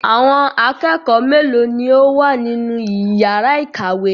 Àwọn akẹ́kọ̀ọ́ mélòó ni ó wà nínú ìyàrá-ìkàwé?